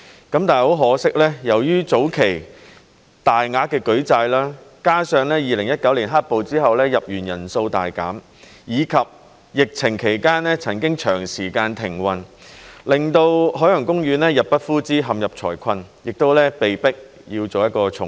但很可惜，由於早期大額的舉債，加上2019年"黑暴"之後入園人數大減，以及疫情期間曾經長時間停運，令到海洋公園入不敷支，陷入財困，被迫要重組。